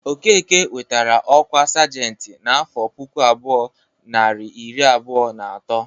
Okeke nwetara ọkwa sajentị n'afọ puku abụọ, narị iri abụọ na atọ.